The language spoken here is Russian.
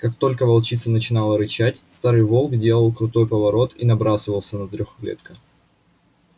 как только волчица начинала рычать старый волк делал крутой поворот и набрасывался на трёхлетка